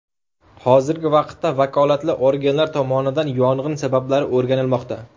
Hozirgi vaqtda vakolatli organlar tomonidan yong‘in sabablari o‘rganilmoqda.